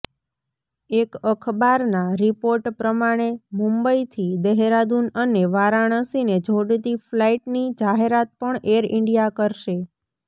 એક અખબારના રિપોર્ટ પ્રમાણે મુંબઈથી દેહરાદૂન અને વારાણસીને જોડતી ફ્લાઇટની જાહેરાત પણ એર ઈન્ડિયા કરશે